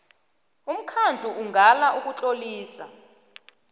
umkhandlu ungala ukutlolisa